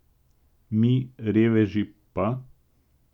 Mi, reveži, pa ...